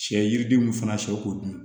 Sɛ yiridenw fana sɛw dun